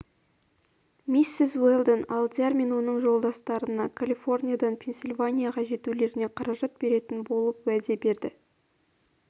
миссис уэлдон алдияр мен оның жолдастарына калифорниядан пенсильванияға жетулеріне қаражат беретін болып уәде етті